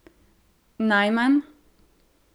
Najmanj?